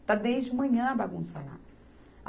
Está desde manhã a bagunça lá.